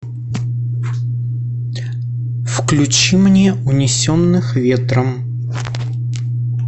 включи мне унесенных ветром